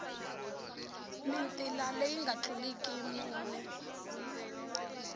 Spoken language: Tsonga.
mitila leyi nga tluliki mune